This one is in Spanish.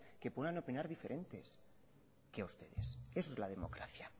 que pueden opinar diferentes que ustedes eso es la democracia